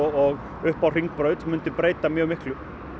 upp á Hringbraut myndi breyta mjög miklu